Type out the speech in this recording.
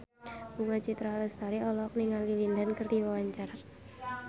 Bunga Citra Lestari olohok ningali Lin Dan keur diwawancara